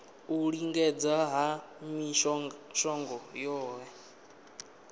u lingedza ha mishongo yohe